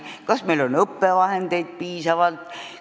Kas meil on õppevahendeid piisavalt?